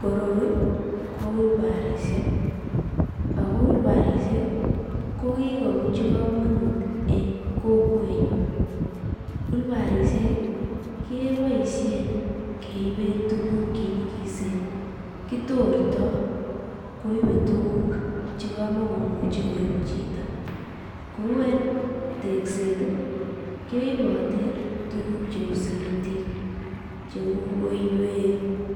Koroi ko olbarishek ak ko olbarishek ko kikobunchi komonut en kokwenyun, olbarishek keboishen keiben tukuk chenyikisen, kitorto koibe tukuk chekamakomuche koib chito, kou en tekset keiboten tukuk cheu simitit, cheuu koiwek,